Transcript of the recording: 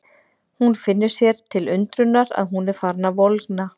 Hún finnur sér til undrunar að hún er farin að volgna.